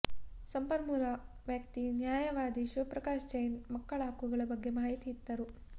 ಸಂಪನ್ಮೂಲ ವ್ಯಕ್ತಿ ನ್ಯಾಯವಾದಿ ಶಿವಪ್ರಕಾಶ್ ಜೈನ್ ಮಕ್ಕಳ ಹಕ್ಕುಗಳ ಬಗ್ಗೆ ಮಾಹಿತಿಯಿತ್ತರು